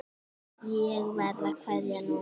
Ég verð að kveðja núna.